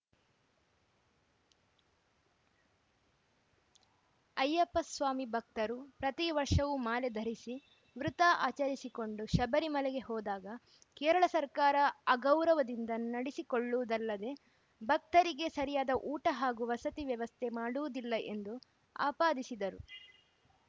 ಅಯ್ಯಪ್ಪಸ್ವಾಮಿ ಭಕ್ತರು ಪ್ರತಿ ವರ್ಷವೂ ಮಾಲೆಧರಿಸಿ ವೃತ ಆಚರಿಸಿಕೊಂಡು ಶಬರಿಮಲೆಗೆ ಹೋದಾಗ ಕೇರಳ ಸರ್ಕಾರ ಅಗೌರವದಿಂದ ನಡೆಸಿಕೊಳ್ಳುವುದಲ್ಲದೆ ಭಕ್ತರಿಗೆ ಸರಿಯಾದ ಊಟ ಹಾಗೂ ವಸತಿ ವ್ಯವಸ್ಥೆ ಮಾಡುವುದಿಲ್ಲ ಎಂದು ಆಪಾದಿಸಿದರು